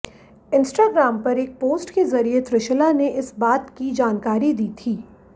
Instagram पर एक post के जरिए त्रिशला ने इस बात की जानकारी दी थी